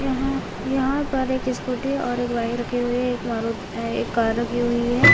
यहाँ यहाँ पर एक स्कूटी और एक बाइक रखी हुई है एक मरू-अ एक कार रखी हुई है।